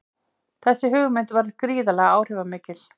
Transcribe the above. Þessi hugmynd varð gríðarlega áhrifamikil.